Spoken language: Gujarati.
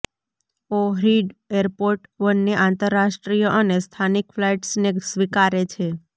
ઓહ્રિડ એરપોર્ટ બંને આંતરરાષ્ટ્રીય અને સ્થાનિક ફ્લાઇટ્સને સ્વીકારે છે